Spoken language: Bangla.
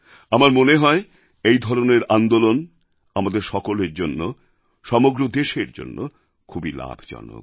আমার মনে হয় এই ধরনের আন্দোলন আমাদের সকলের জন্য সমগ্র দেশের জন্য খুবই লাভজনক